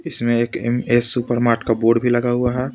इसमें एक M A supermart का बोर्ड भी लगा हुआ है.